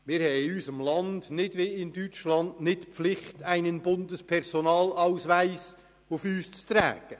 In unserem Land besteht nicht wie in Deutschland die Pflicht, einen Bundespersonalausweis auf sich zu tragen.